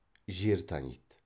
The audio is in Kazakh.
жер таниды